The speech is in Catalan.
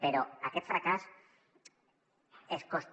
però aquest fracàs és cost